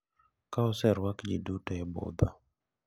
Ka oserwak ji duto e budho,